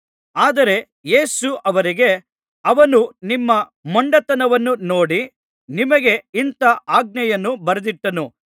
ಆದರೆ ಯೇಸು ಅವರಿಗೆ ಅವನು ನಿಮ್ಮ ಮೊಂಡತನವನ್ನು ನೋಡಿ ನಿಮಗೆ ಇಂಥಾ ಆಜ್ಞೆಯನ್ನು ಬರೆದಿಟ್ಟನು